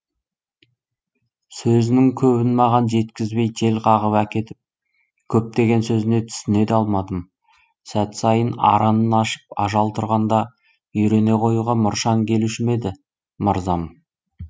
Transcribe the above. сөзінің көбін маған жеткізбей жел қағып әкетіп көптеген сөзіне түсіне де алмадым сәт сайын аранын ашып ажал тұрғанда үйрене қоюға мұршаң келуші ме еді мырзам